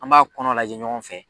An b'a kɔnɔ lajɛ ɲɔgɔn fɛ.